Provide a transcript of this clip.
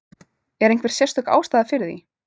Er einhver sérstök ástæða fyrir því?